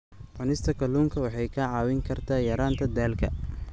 Cunista kalluunka waxay kaa caawin kartaa yaraynta daalka.